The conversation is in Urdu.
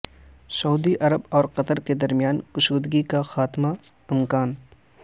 سعودی عرب اور قطر کے درمیان کشیدگی کے خاتمہ کا امکان